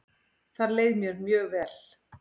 Þar leið mér mjög vel.